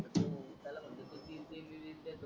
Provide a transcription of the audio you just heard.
ते लोक तीन तीन मिंट देतो